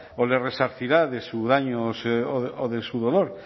o le resarcirá de su daño o de su dolor